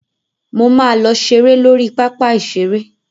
Mo máa lọ ṣeré lórí pápá ìṣeré.